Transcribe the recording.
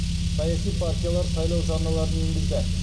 саяси партиялар сайлау жарналарын енгізді